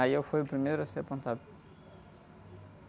Aí eu fui o primeiro a ser apontado.